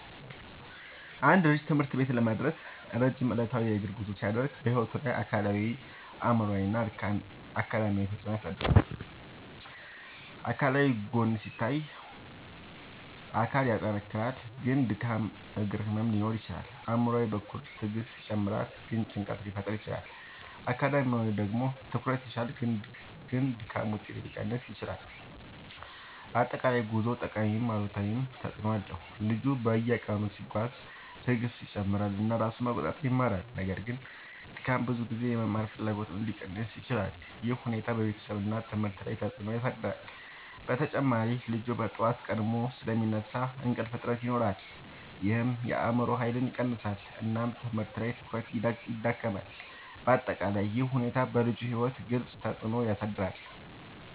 አንድ ልጅ ትምህርት ቤት ለመድረስ ረጅም ዕለታዊ የእግር ጉዞ ሲያደርግ በሕይወቱ ላይ አካላዊ አእምሯዊ እና አካዳሚያዊ ተፅዕኖ ያሳድራል። አካላዊ ጎን ሲታይ አካል ይጠናከራል ግን ድካም እግር ህመም ሊኖር ይችላል። አእምሯዊ በኩል ትዕግስት ይጨምራል ግን ጭንቀት ሊፈጠር ይችላል። አካዳሚያዊ ደግሞ ትኩረት ይሻሻላል ግን ድካም ውጤት ሊቀንስ ይችላል። በአጠቃላይ ጉዞው ጠቃሚም አሉታዊም ተፅዕኖ አለው። ልጁ በየቀኑ ሲጓዝ ትዕግስቱ ይጨምራል እና ራሱን መቆጣጠር ይማራል። ነገር ግን ድካም ብዙ ጊዜ የመማር ፍላጎትን ሊቀንስ ይችላል። ይህ ሁኔታ በቤተሰብ እና ትምህርት ላይ ተጽዕኖ ያሳድራል። በተጨማሪ ልጁ በጠዋት ቀድሞ ስለሚነሳ እንቅልፍ እጥረት ይኖራል ይህም የአእምሮ ኃይልን ይቀንሳል እና ትምህርት ላይ ትኩረት ይዳክማል። በአጠቃላይ ይህ ሁኔታ በልጁ ሕይወት ግልጽ ተፅዕኖ ያሳድራል።